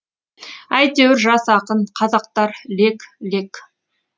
әйтеуір жас ақын қазақтар лек лек